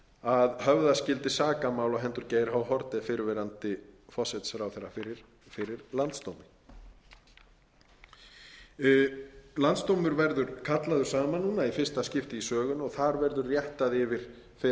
að höfða skyldi sakamál á hendur geir h haarde fyrrverandi forsætisráðherra fyrir landsdómi landsdómur verður kallaður saman núna í fyrsta skipti í sögunni þar verður réttað yfir fyrrverandi forsætisráðherra